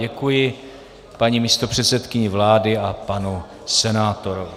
Děkuji paní místopředsedkyni vlády a panu senátorovi.